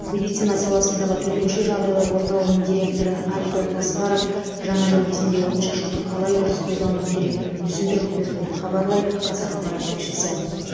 медицина саласындағы төтенше жағдайлар орталығының директоры альберт асқаров жаңа жыл кезінде отшашуды қалай дұрыс пайдалану керектігін түсіндіріп берді деп хабарлайды қазақпарат тілшісі